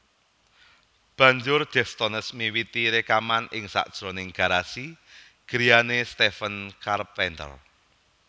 Banjur Deftones miwiti rekaman ing sajroning garasi griyane Stephen Carpenter